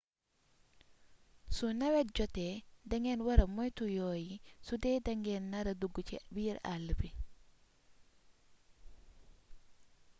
su newet jotee da ngeen wara moytu yoo yi sudee dangeen nara dugg ci biir àll bi